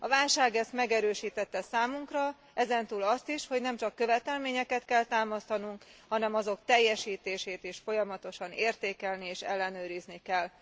A válság ezt megerősítette számunkra, ezen túl azt is, hogy nem csak követelményeket kell támasztanunk, hanem azok teljesítését is folyamatosan értékelni és ellenőrizni kell.